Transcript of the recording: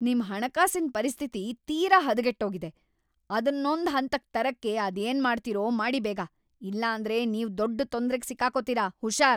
ನಿಮ್ ಹಣಕಾಸಿನ್ ಪರಿಸ್ಥಿತಿ ತೀರಾ ಹದಗೆಟ್ಟೋಗಿದೆ! ಅದನ್ನೊಂದ್‌ ಹಂತಕ್‌ ತರಕ್ಕೆ ಅದೇನ್‌ ಮಾಡ್ತೀರೋ ಮಾಡಿ ಬೇಗ, ಇಲ್ಲಾಂದ್ರೆ ನೀವು ದೊಡ್ಡ್ ತೊಂದ್ರೆಗ್ ಸಿಕ್ಕಾಕೊತೀರ.. ಹುಷಾರ್!